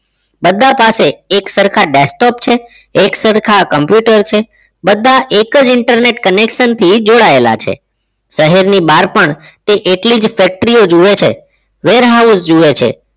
બધા પાસે એક સરખા desktop છે એક સરખા computer છે બધા એક જ internet connection થી જોડાયેલા છે શહેરની બહાર પણ તે એટલી જ factory ઓ જુએ છે warehouse જુએ છે